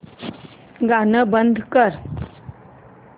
गाणं बंद कर